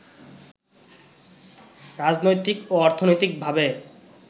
রাজনৈতিক ও অর্থনৈতিকভাবে